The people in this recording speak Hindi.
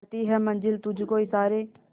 करती है मंजिल तुझ को इशारे